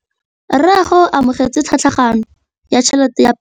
Rragwe o amogetse tlhatlhaganyô ya tšhelête ya phenšene.